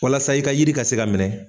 Walasa i ka yiri ka se ka minɛ